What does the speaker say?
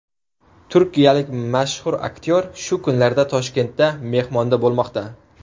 Turkiyalik mashhur aktyor shu kunlarda Toshkentda mehmonda bo‘lmoqda.